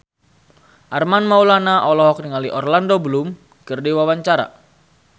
Armand Maulana olohok ningali Orlando Bloom keur diwawancara